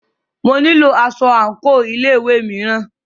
Mo nílo aṣọ àńkò ilé ìwé mìíràn.